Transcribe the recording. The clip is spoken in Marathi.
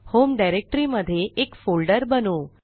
होम डायरेक्टरी मध्ये एक फोल्डर बनवू